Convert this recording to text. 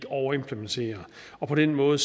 overimplementere på den måde